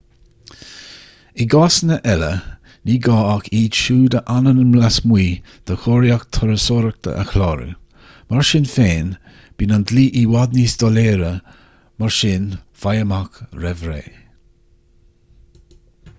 i gcásanna eile ní gá ach iad siúd a fhanann lasmuigh de chóiríocht turasóireachta a chlárú mar sin féin bíonn an dlí i bhfad níos doiléire mar sin faigh amach roimh ré